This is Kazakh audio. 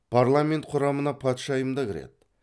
парламент құрамына патшайым да кіреді